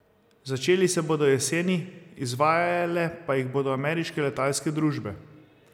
Začeli se bodo jeseni, izvajale pa jih bodo ameriške letalske družbe.